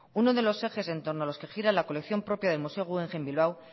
uno de los ejes en torno a los que gira la colección propia del museo guggenheim bilbao